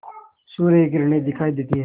सूर्य की किरणें दिखाई देती हैं